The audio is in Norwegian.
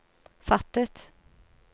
fattet